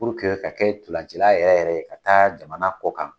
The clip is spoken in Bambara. Puruke ka kɛ ntola tan na yɛrɛ yɛrɛ ye ka taa jamana ko kan